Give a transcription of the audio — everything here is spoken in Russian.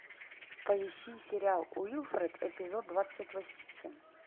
поищи сериал уилфред эпизод двадцать восемь